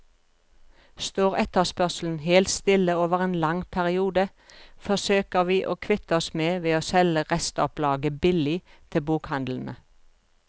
Står etterspørselen helt stille over en lang periode, forsøker vi å kvitte oss med ved å selge restopplaget billig til bokhandlene.